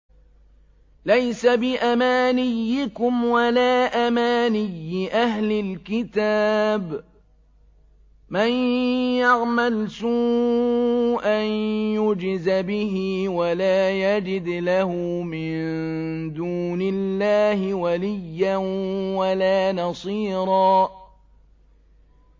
لَّيْسَ بِأَمَانِيِّكُمْ وَلَا أَمَانِيِّ أَهْلِ الْكِتَابِ ۗ مَن يَعْمَلْ سُوءًا يُجْزَ بِهِ وَلَا يَجِدْ لَهُ مِن دُونِ اللَّهِ وَلِيًّا وَلَا نَصِيرًا